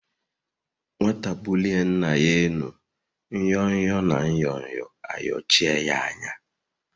Nwata bulie Nna ya elu nyo-nyo na Nyo-nyo ayochie ya anya.